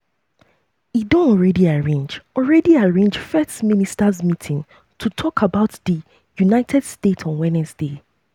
e don alreadi arrange alreadi arrange um first ministers meeting "to tok um about di united states" on wednesday.